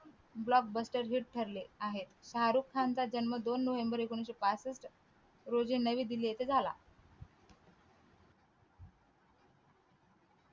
block bluster hit ठरले आहे शारुख खानचा जन्म दोन नोव्हेंबर एकोणविशे पासष्ठ रोजी नवी दिल्ली येथे झाला.